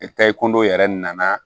kɔndɔ yɛrɛ nana